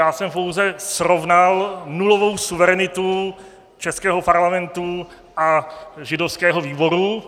Já jsem pouze srovnal nulovou suverenitu českého Parlamentu a židovského výboru.